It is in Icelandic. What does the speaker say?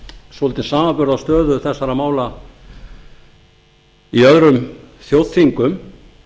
svolítinn samanburð á stöðu þessara mála í öðrum þjóðþingum